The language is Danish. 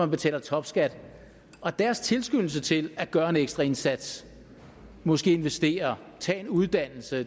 betaler topskat og deres tilskyndelse til at gøre en ekstra indsats måske investere tage en uddannelse